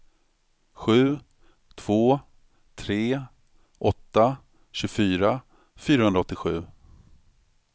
sju två tre åtta tjugofyra fyrahundraåttiosju